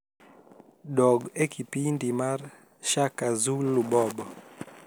dog e kipindi mar shaka zulu bob